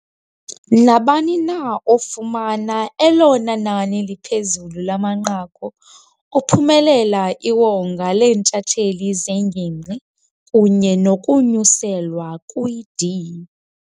Nabani na ofumana elona nani liphezulu lamanqaku uphumelela iwonga leentshatsheli zeNgingqi kunye nokunyuselwa kwi-D.